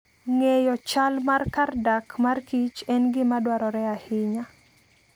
Ng'eyo chal mar kar dak markich en gima dwarore ahinya.